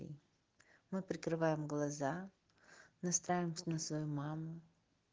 мы прикрываем глаза настраиваться на свою маму